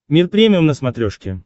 мир премиум на смотрешке